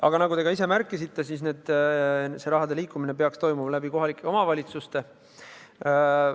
Aga nagu te ka ise märkisite, peaks see raha liikuma läbi kohalike omavalitsuste.